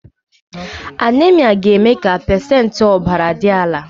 Anaemia ga-eme ka pacentị ọbara dị ala